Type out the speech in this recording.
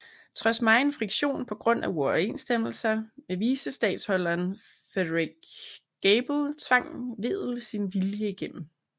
Trods megen friktion på grund af uoverensstemmelser med vicestatholderen Frederik Gabel tvang Wedel sin vilje igennem